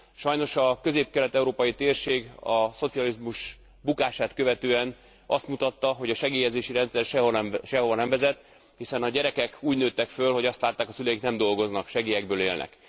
Sajnos a közép kelet európai térség a szocializmus bukását követően azt mutatta, hogy a segélyezési rendszer sehova nem vezet, hiszen a gyerekek úgy nőttek fel, hogy azt látták, hogy a szüleik nem dolgoznak, segélyekből élnek.